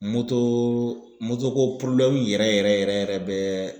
ko yɛrɛ yɛrɛ yɛrɛ bɛ